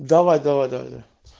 давай давай давай